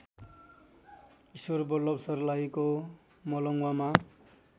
ईश्वरबल्लभ सर्लाहीको मलङ्गवामा